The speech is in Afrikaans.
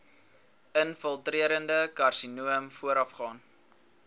infiltrerende karsinoom voorafgaan